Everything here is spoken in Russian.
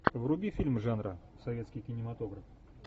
вруби фильм жанра советский кинематограф